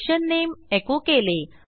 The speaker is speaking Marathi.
सेशन नामे एको केले